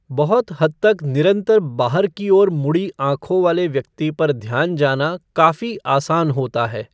बहुत हद तक निरंतर बाहर की ओर मुड़ी आँखों वाले व्यक्ति पर ध्यान जाना काफ़ी आसान होता है।